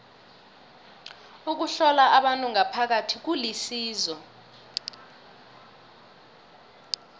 ukuhlola abantu ngaphakathi kulisizo